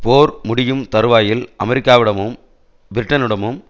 போர் முடியும் தறுவாயில் அமெரிக்காவிடமும் பிரிட்டனிடமும்